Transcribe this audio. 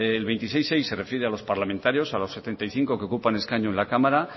el veintiséis punto seis se refiere a los parlamentarios a los setenta y cinco que ocupan escaño en la cámara